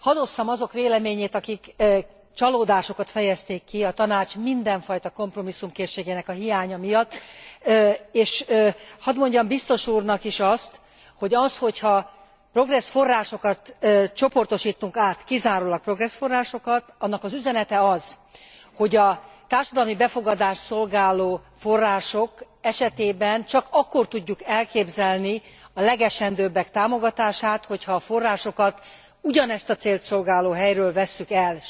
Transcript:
Hadd osszam azok véleményét, akik csalódásukat fejezték ki a Tanács mindenfajta kompromisszumkészségének a hiánya miatt és hadd mondjam biztos úrnak is azt, hogy az, hogy ha Progress forrásokat csoportosítunk át, kizárólag Progress forrásokat, annak az üzenete az, hogy a társadalmi befogadást szolgáló források esetében csak akkor tudjuk elképzelni a legesendőbbek támogatását, hogy ha a forrásokat ugyanezt a célt szolgáló helyről vesszük el.